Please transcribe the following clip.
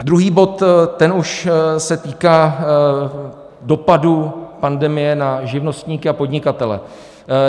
Druhý bod, ten už se týká dopadů pandemie na živnostníky a podnikatele.